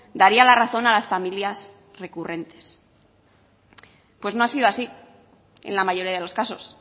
daría la razón a las familias recurrentes pues no ha sido así en la mayoría de los casos